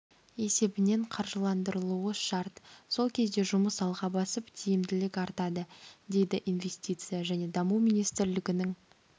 есебінен қаржыландырылуы шарт сол кезде жұмыс алға басып тиімділік артады дейді инвестиция және даму министрлігінің